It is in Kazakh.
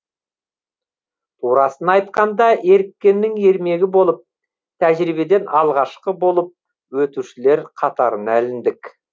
турасын айтқанда еріккеннің ермегі болып тәжірибеден алғашқы болып өтушілер қатарына іліндік